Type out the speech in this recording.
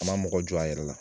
A ma mɔgɔ jɔ a yɛrɛ la.